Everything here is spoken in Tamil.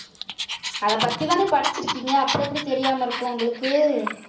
அதை பத்திதானே படிச்சிருக்கீங்க அப்புறம் எப்படி தெரியாம இருக்கும் உங்களுக்கு